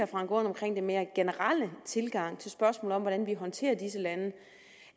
frank aaen omkring den mere generelle tilgang til spørgsmålet om hvordan vi håndterer disse lande